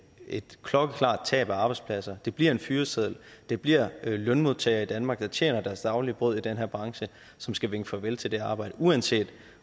et klokkeklart tab af arbejdspladser det bliver en fyreseddel det bliver lønmodtagere i danmark der tjener til deres daglige brød i den her branche som skal vinke farvel til det her arbejde uanset